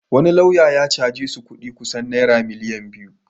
Wani lauya ya caje su kudi naira miliyan biyu.